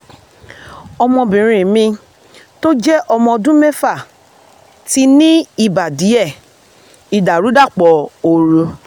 ọmọbìnrin mi tó jẹ́ ọmọ ọdún mẹ́fà ti ní ibà díẹ̀ (ìdàrúdàpọ̀ ooru - 100